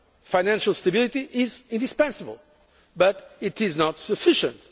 Financial stability is indispensable but it is not sufficient.